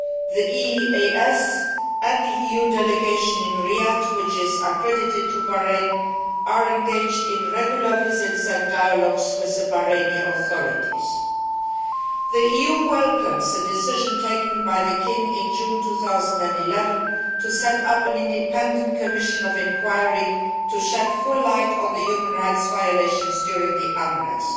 The EEAS and the EU delegation in Riyadh, which is accredited to Bahrain, are engaged in regular visits and dialogue with the Bahraini authorities. The EU welcomes the decision taken by the King in June 2011 to set up an independent commission of inquiry to shed full light on the human rights violations during the unrest.